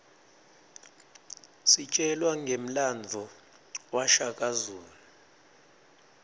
sitjelwa ngemlandvo washaka zulu